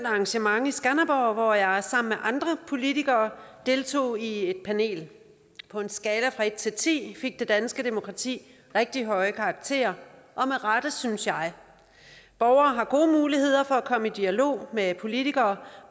arrangement i skanderborg hvor jeg sammen med andre politikere deltog i et panel på en skala fra en til ti fik det danske demokrati rigtig høje karakterer og med rette synes jeg borgere har gode muligheder for at komme i dialog med politikere